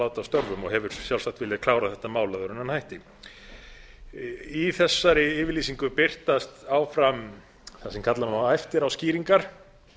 láta af störfum og hefur sjálfsagt viljað klára þetta mál áður en hann hætti í þessari yfirlýsingu birtist áfram það sem kalla má eftiráskýringar